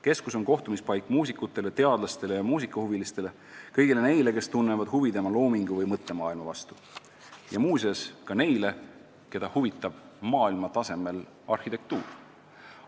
Keskus on kohtumispaik muusikutele, teadlastele ja muusikahuvilistele – kõigile neile, kes tunnevad huvi tema loomingu või mõttemaailma vastu, ja muuseas ka neile, keda huvitab maailmatasemel arhitektuur.